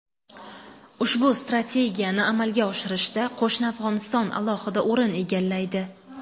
Ushbu strategiyani amalga oshirishda qo‘shni Afg‘oniston alohida o‘rin egallaydi.